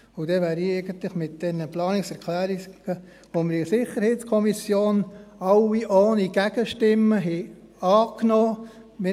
Damit bin ich eigentlich mit den Planungserklärungen fertig, die wir in der SiK alle ohne Gegenstimmen angenommen haben.